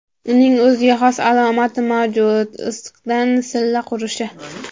Uning o‘ziga xos alomati mavjud issiqdan silla qurishi.